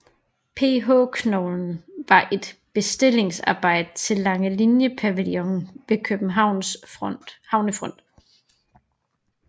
PH Koglen var et bestillingsarbejde til Langelinie Pavillonen ved Københavns havnefront